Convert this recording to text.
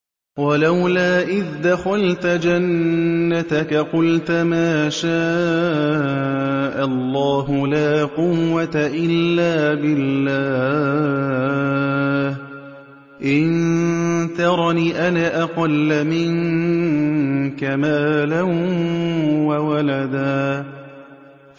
وَلَوْلَا إِذْ دَخَلْتَ جَنَّتَكَ قُلْتَ مَا شَاءَ اللَّهُ لَا قُوَّةَ إِلَّا بِاللَّهِ ۚ إِن تَرَنِ أَنَا أَقَلَّ مِنكَ مَالًا وَوَلَدًا